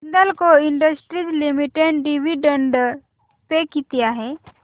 Hindalco industries limited dividend pay किती आहे